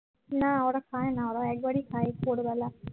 না ওরা খায় না ওরা একবারই খায় ভোরবেলা